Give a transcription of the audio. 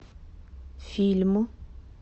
фильм